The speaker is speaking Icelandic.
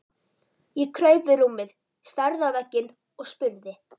Ég kraup við rúmið, starði á vegginn og spurði